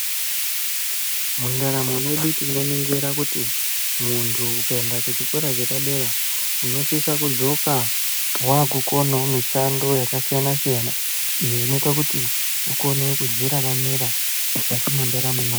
Mundaramo mwedu tinoningira kuti muntu ukaenda kuchikora chepadera unosisa kudzoka waakukonawo mishando yakasiyana-siyana iyo inoita kuti ukone kudziraramira mukati mwendaramo yako.